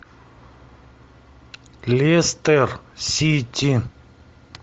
лестер сити